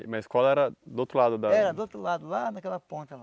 Mas a escola era do outro lado da... Era do outro lado, lá naquela ponta lá.